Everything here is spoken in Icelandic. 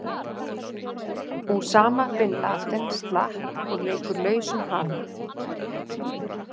Usama Bin Laden slapp og leikur lausum hala.